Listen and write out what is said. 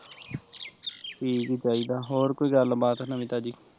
ਠੀਕ ਹੀਂ ਚਾਹੀਦਾ ਹੋਰ ਸੁਣਾ ਕੋਈ ਗੱਲ ਬਾਤ ਨਵੀਂ ਤਾਜ਼ੀ